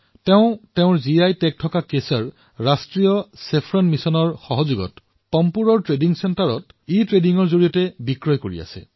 তেওঁ নিজৰ জিআই টেগযুক্ত কেশৰক ৰাষ্ট্ৰীয় ছেফ্ৰন অভিযানৰ সহায়ত পাম্পোৰৰ বাণিজ্য কেন্দ্ৰত ইবাণিজ্যৰ জৰিয়তে বিক্ৰী কৰিছে